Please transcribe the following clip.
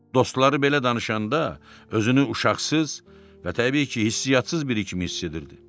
Dostları belə danışanda özünü uşaqsız və, təbii ki, hisssiyatsız biri kimi hiss edirdi.